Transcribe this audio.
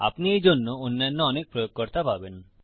আপনি এইজন্য অন্যান্য অনেক প্রয়োগকর্তা পাবেন